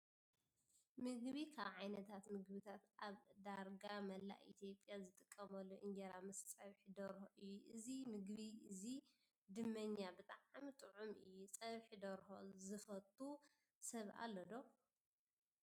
ምግቢ፦ ካብ ዓይነታት ምግብታት ኣብ ዳርጋ መላእ ኢ/ያ ዝጥቀመሉ እንጀራ ምስ ፀብሒ ዶርሁ እዩ። እዚ መግቢ እዙይ ድመኛ ብጣዕሚ ጥዑም እዩ። ፀብሒ ዶርሆ ዘፈቱ ሰብ ኣሎ ዶ?